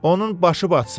Onun başı batsın.